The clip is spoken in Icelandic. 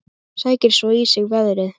Sækir svo í sig veðrið.